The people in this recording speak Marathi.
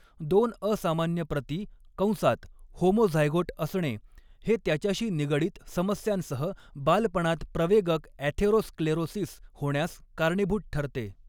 दोन असामान्य प्रती कंसात होमोझायगोट असणे हे त्याच्याशी निगडीत समस्यांसह बालपणात प्रवेगक ॲथेरोस्क्लेरोसिस होण्यास कारणीभूत ठरते.